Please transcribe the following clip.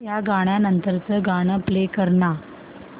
या गाण्या नंतरचं गाणं प्ले कर ना